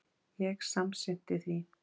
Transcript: Ég samsinnti því.